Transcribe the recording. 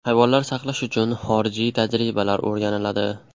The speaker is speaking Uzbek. Hayvonlar saqlash uchun xorijiy tajribalar o‘rganiladi.